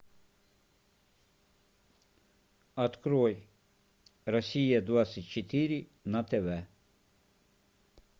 открой россия двадцать четыре на тв